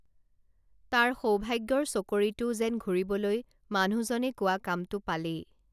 তাৰ সৌভাগ্যৰ চকৰিটোও যেন ঘূৰিবলৈ মানুহজনে কোৱা কামটো পালেই